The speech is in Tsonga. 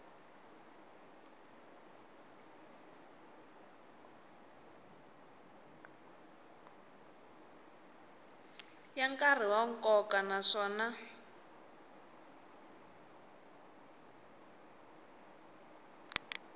yo karhi ya nkoka naswona